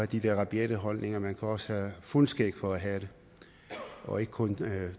de der rabiate holdninger man kan også have fuldskæg for at have dem og ikke kun